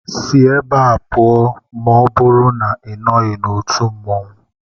Si ebe a pụọ maọbụru na Ị nọghị n'otu mmanwu!